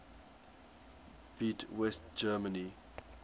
beat west germany